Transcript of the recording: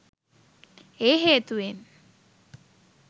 ඒ හේතුවෙන්